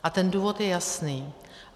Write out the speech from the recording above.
A ten důvod je jasný.